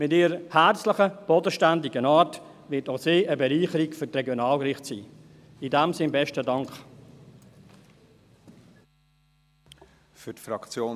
Mit ihrer herzlichen, bodenständigen Art wird auch sie eine Bereicherung für die Regionalgerichte sein.